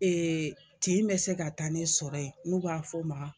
tin bɛ se ka taa ne sɔrɔ yen n'u b'a f'ɔ ma